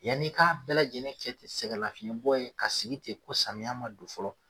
Yan'i k'a bɛɛ lajɛlen kɛ sɛgɛ lafiɲɛ bɔ ye ka sigi ten ko samiya ma don fɔlɔ